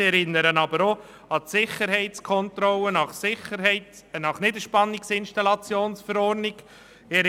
ich erinnere aber auch an die Sicherheitskontrollen nach Niederspannungs-Installationsverordnung (NIV);